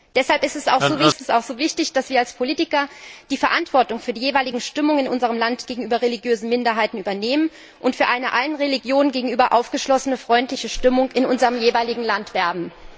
Deshalb ist es auch so wichtig, dass wir als Politiker die Verantwortung für die jeweilige Stimmung in unserem Land gegenüber religiösen Minderheiten übernehmen und für eine allen Religionen gegenüber aufgeschlossene, freundliche Stimmung in unserem jeweiligen Land werben.